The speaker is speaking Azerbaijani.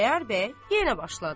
Xudayar bəy yenə başladı: